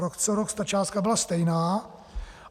Rok co rok ta částka byla stejná.